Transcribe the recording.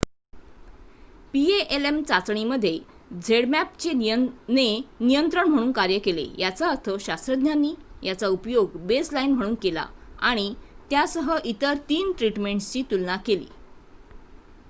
palm चाचणीमध्ये zmapp ने नियंत्रण म्हणून कार्य केले याचा अर्थ शास्त्रज्ञांनी याचा उपयोग बेसलाइन म्हणून केला आणि त्यासह इतर 3 ट्रीटमेंट्सची तुलना केली